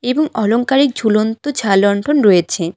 এবং অলংকারে ঝুলন্ত ঝাড়লণ্ঠন রয়েছে।